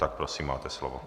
Tak prosím, máte slovo.